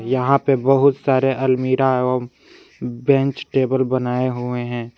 यहां पे बहुत सारे अलमीरा एवं बेंच टेबल बनाए हुए हैं।